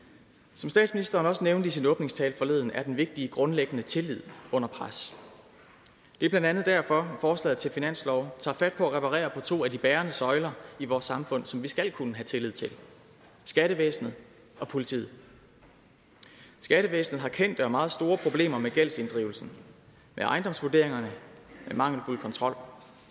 som statsministeren også nævnte i sin åbningstale forleden er den vigtige grundlæggende tillid under pres det er blandt andet derfor forslaget til finanslov tager fat på at reparere på to af de bærende søjler i vores samfund som vi skal kunne have tillid til skattevæsenet og politiet skattevæsenet har kendte og meget store problemer med gældsinddrivelsen med ejendomsvurderingerne med mangelfuld kontrol